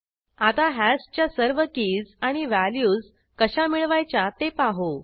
आता हॅशच्या सर्व कीज आणि व्हॅल्यूज कशा मिळवायच्या ते पाहू